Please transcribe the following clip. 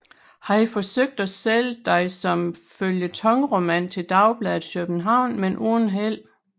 Han forsøgte at sælge den som føljetonroman til dagbladet København men uden held